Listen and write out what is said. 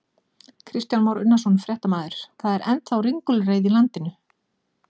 Kristján Már Unnarsson, fréttamaður: Það er ennþá ringulreið í landinu?